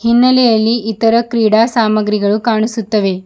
ಹಿನ್ನಲೆಯಲ್ಲಿ ಇತರ ಕ್ರೀಡಾ ಸಾಮಗ್ರಿಗಳು ಕಾಣಿಸುತ್ತವೆ.